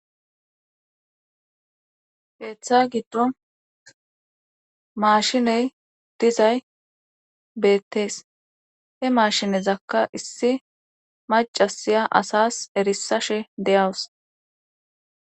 Heeththa giddo maashiney dizay beettees he maashinezakka issi macasiya asas erisashe deyawus.